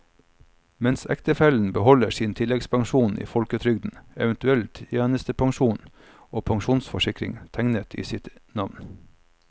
Mens ektefellen beholder sin tilleggspensjon i folketrygden, eventuell tjenestepensjon og pensjonsforsikring tegnet i sitt navn.